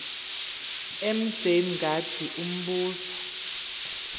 mj mngadi umbuzo